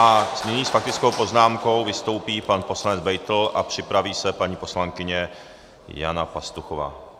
A nyní s faktickou poznámkou vystoupí pan poslanec Beitl a připraví se paní poslankyně Jana Pastuchová.